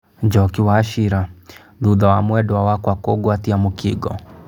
Njoki wachira: thutha wa mwendwa wakwa kungwatia mũkingo